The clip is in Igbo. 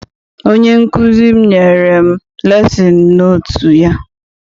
Onye nkụzi m nyere m lesin notu ya.